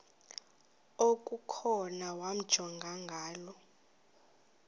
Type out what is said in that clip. okukhona wamjongay ngaloo